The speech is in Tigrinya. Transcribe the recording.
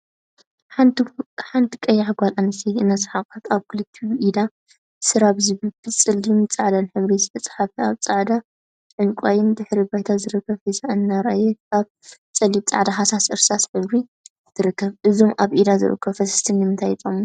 ሓንቲ ቀያሕ ጓል አንስተይቲ እናሰሓቀት አብ ክልቲኡ ኢዳ ሰራቨ ዝብል ብፀሊምን ፃዕዳን ሕብሪ ዝተፀሓፈ አብ ፃዕዳን ዕንቋይን ድሕረ ባይታ ዝርከብ ሒዛ እናርአየት አብ ፀሊም፣ ፃዕዳን ሃሳስ እርሳስ ሕብሪ ትርከብ፡፡ እዞም አብ ኢዳ ዝርከቡ ፈሰስቲ ንምንታይ ይጠቅሙና?